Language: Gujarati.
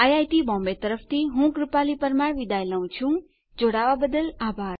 iit બોમ્બે તરફથી સ્પોકન ટ્યુટોરીયલ પ્રોજેક્ટ માટે ભાષાંતર કરનાર હું ભરત સોલંકી વિદાય લઉં છું